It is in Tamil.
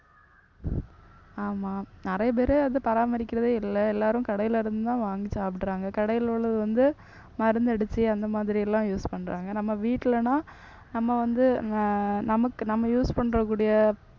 ஆமா நிறைய பேரு அதை பராமரிக்கிறதே இல்லை. எல்லாரும் கடையில இருந்து தான் வாங்கி சாப்பிடுறாங்க. கடையில உள்ளது வந்து மருந்து அடிச்சு அந்த மாதிரி எல்லாம் use பண்றாங்க. நம்ம வீட்லனா நம்ம வந்து அஹ் நமக்கு நம்ம use பண்ற கூடிய